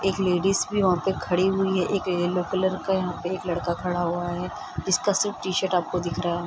एक लेडिस भी वहाँ पे खड़ी हुई है एक येलो कलर का यहाँ पे एक लड़का खड़ा हुआ है जिसका सीट टी-शर्ट आपको दिख रहा --